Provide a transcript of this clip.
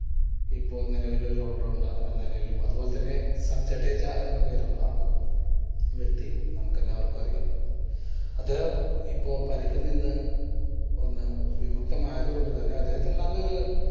ഇപ്പോൾ നിലവിലെ ഒരു all rounder എന്ന നിലയിലും അത് പോലെ തന്നെ ജഡേജ എന്ന് പേരുള്ള വ്യക്തിയും നമുക്ക് എല്ലാവർക്കും അറിയാം. അദ്ദേഹം ഇപ്പോൾ പരിക്കിൽ നിന്ന് വിമുക്തമായത് കൊണ്ട് തന്നെ അദ്ദേഹത്തിന് നല്ലൊരു